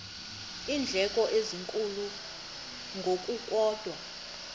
iindleko ezinkulu ngokukodwa